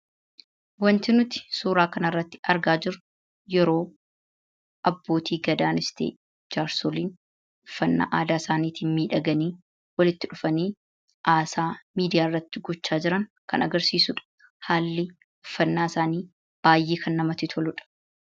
Waanti nuti suura kana irratti argaa jirru, yeroo Abbootii F1adaanis ta'ee jaarsoliin uffannaa aadaa isaaniitiin miidhaganii haasaa miidiyaa irratti gochaa jiran kan agarsiisudha. Haalli uffannaa isaanii baayyee kan namatti toludha.